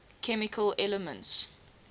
chemical elements